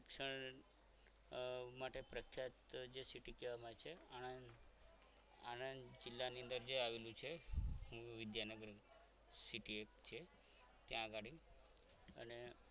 શિક્ષણ માટે પ્રખ્યાત જે city કહેવામાં આવે છે આણંદ આણંદ જિલ્લાની અંદર જે આવેલું છે એ વિદ્યાનગર city એક છે ત્યાં ગાડી અને